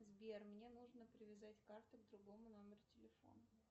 сбер мне нужно привязать карту к другому номеру телефона